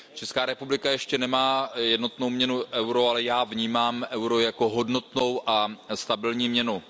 Česká republika ještě nemá jednotnou měnu euro, ale já vnímám euro jako hodnotnou a stabilní měnu.